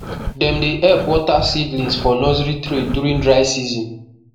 dem dey help water seedlings for nursery tray during dry season